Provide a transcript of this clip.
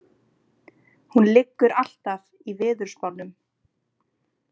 Hún liggur alltaf í veðurspánum.